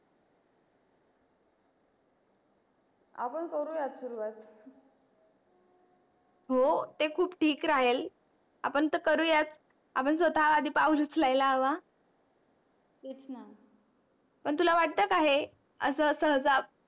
आपण करू या सुरवात हो ते खूप ठीक राहेल आपण तर कारूयाच आपण स्वताहा आधी पाऊल उचलायला हवा तेचणा पण तुला वाट का हे अस अस सहजा